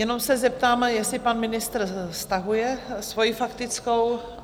Jenom se zeptám, jestli pan ministr stahuje svoji faktickou?